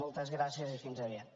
moltes gràcies i fins aviat